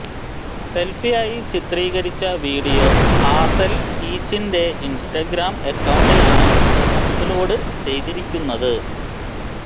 സെല്ഫിയായി ചിത്രീകരിച്ച video Hazel കീച്ചിന്റെ Instagram അക്കൌണ്ടിലാണ് അപ്ലോഡ് ചെയ്തിരിക്കുന്നത്